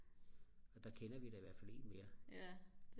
der kender vi da i hvert fald 1 mere